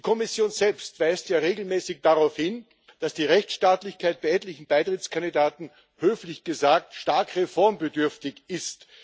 Die Kommission selbst weist ja regelmäßig darauf hin, dass die Rechtsstaatlichkeit bei etlichen Beitrittskandidaten höflich gesagt stark reformbedürftig ist.